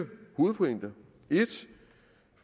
hovedpointer